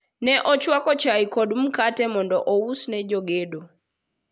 ne ochwako chae kod mkate mondo ous ne jogedo